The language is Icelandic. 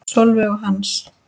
Sólveig og Hans.